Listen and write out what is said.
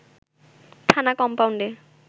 থানা কমপাউন্ডে